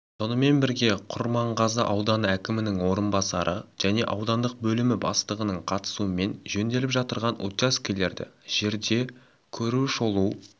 сонымен бірге құрманғазы ауданы әкімінің орынбасары және аудандық бөлімі бастығының қатысуымен жөнделіп жатырған учаскелерді жерде көру-шолу